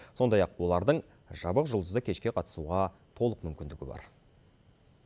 сондай ақ олардың жабық жұлдызды кешке қатысуға мүмкіндігі бар